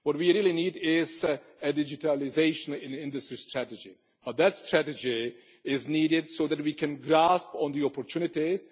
What we really need is a digitalisation in industry strategy, but that strategy is needed so that we can grasp all the opportunities.